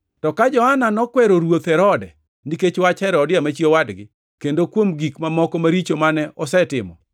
To ka Johana nokwero Ruoth Herode nikech wach Herodia, ma chi owadgi, kendo kuom gik mamoko maricho mane osetimo,